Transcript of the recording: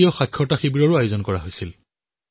বিত্তীয় শিক্ষাৰ শিবিৰ অনুষ্ঠিত কৰা হৈছিল